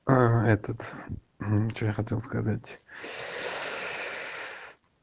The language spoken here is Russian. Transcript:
а этот что я хотел сказать